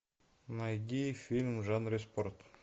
найди фильм в жанре спорт